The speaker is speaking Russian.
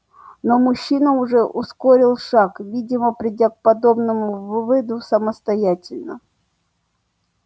но мужчина уже ускорил шаг видимо придя к подобному выводу самостоятельно